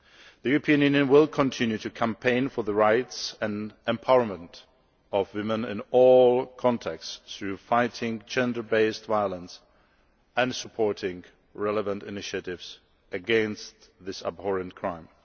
The European Union will continue to campaign for the rights and empowerment of women in all contexts by fighting gender based violence and supporting relevant initiatives against this abhorrent crime.